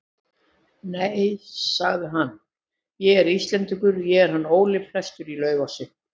Nei, sagði hann,-ég er Íslendingur, ég er hann Óli prestur í Laufási.